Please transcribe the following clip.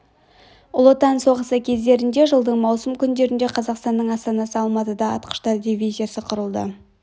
ұлы отан соғысы кездерінде жылдың маусым күндерінде қазақстанның астанасы алматыда атқыштар дивизиясы құрылды